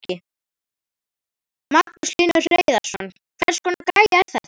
Magnús Hlynur Hreiðarsson: Hvers konar græja er þetta?